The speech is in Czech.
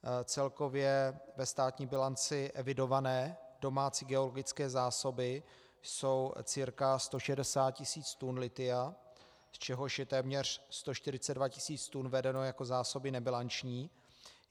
Celkově ve státní bilanci evidované domácí geologické zásoby jsou cca 160 tisíc tun lithia, z čehož je téměř 142 tisíc tun vedeno jako zásoby nebilanční.